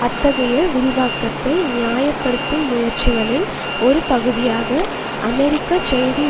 அத்தகைய விரிவாக்கத்தை நியாய படுத்தும் முயற்சிகளின் ஒரு பகுதியாக அமெரிக்க செய்தி